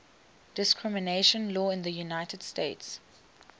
discrimination law in the united states